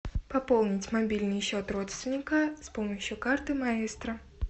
пополнить мобильный счет родственника с помощью карты маэстро